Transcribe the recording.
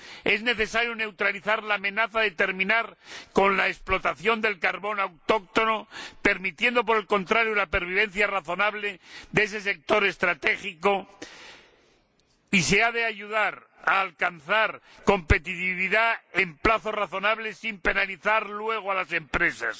Es necesario neutralizar la amenaza de terminar con la explotación del carbón autóctono permitiendo, por el contrario, la pervivencia razonable de ese sector estratégico, y se ha de ayudar a alcanzar competitividad en plazos razonables sin penalizar luego a las empresas.